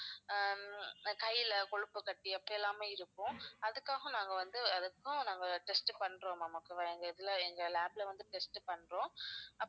ஹம் கையில கொழுப்பு கட்டி அப்படியெல்லாமே இருக்கும் அதுக்காக நாங்க வந்து அதுக்கும் நாங்க test பண்றோம் ma'am okay வா எங்க இதுல எங்க lab ல வந்து test பண்றோம்